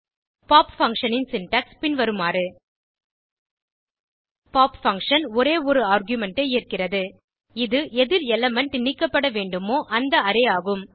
pop function ன் syntax பின்வருமாறு pop function ஒரே ஒரு ஆர்குமென்ட் ஐ ஏற்கிறது இது எதில் எலிமெண்ட் நீக்கப்பட வேண்டுமோ அந்த அரே ஆகும்